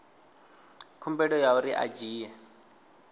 khumbelo ya uri a dzhie